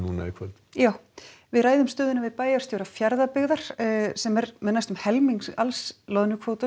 í kvöld jú við ræðum stöðuna við bæjarstjóra Fjarðabyggðar sem er með næstum helming alls loðnukvótans